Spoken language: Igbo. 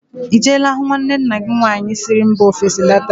Ị jeela hụ nwanne nna gị nwaanyị siri mba ofesi lọta?